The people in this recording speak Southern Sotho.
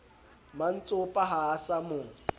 mantsopa ha a sa mo